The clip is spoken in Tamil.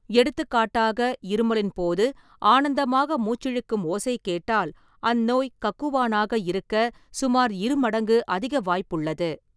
எடுத்துக்காட்டாக, இருமலின் போது "ஆனந்தமாக" மூச்சிழுக்கும் ஓசை கேட்டால், அந்நோய் கக்குவானாக இருக்க சுமார் இருமடங்கு அதிக வாய்ப்புள்ளது.